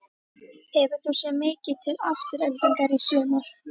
Hefur þú séð mikið til Aftureldingar í sumar?